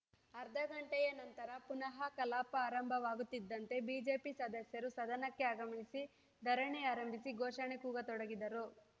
ಅರ್ಧ ಗಂಟೆಯ ನಂತರ ಪುನಃ ಕಲಾಪ ಆರಂಭವಾಗುತ್ತಿದ್ದಂತೆ ಬಿಜೆಪಿ ಸದಸ್ಯರು ಸದನಕ್ಕೆ ಆಗಮಿಸಿ ಧರಣಿ ಆರಂಭಿಸಿ ಘೋಷಣೆ ಕೂಗತೊಡಗಿದರು